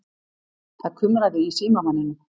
Það kumraði í símamanninum.